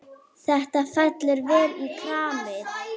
Þetta fellur vel í kramið.